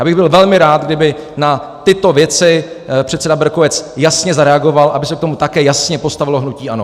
Já bych byl velmi rád, kdyby na tyto věci předseda Berkovec jasně zareagoval, aby se k tomu také jasně postavilo hnutí ANO.